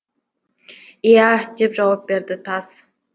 иә деп жауап берді тас